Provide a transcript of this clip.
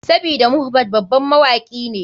Sabida mohbad baban mawaki ne.